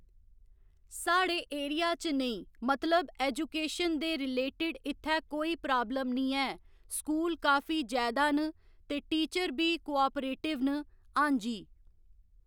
साढ़े एरिया च नेईं मतलब एजूकेशन दे रिलेटेड इत्थै कोई प्राब्लम निं ऐ स्कूल काफी जैदा न ते टीचर बी कोआपरेटिव न आं जी